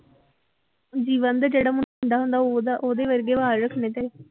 ਜੀਵਨ ਦੇ ਜਿਹੜਾ ਮੁੰਡਾ ਹੁੰਦਾ ਉਹਦਾ ਉਹਦੇ ਵਰਗੇ ਵਾਲ ਰੱਖਣੇ ਤੇ।